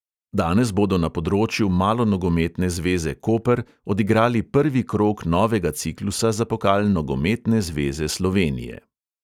Danes bodo na področju malonogometne zveze koper odigrali prvi krog novega ciklusa za pokal nogometne zveze slovenije.